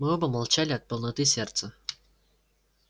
мы оба молчали от полноты сердца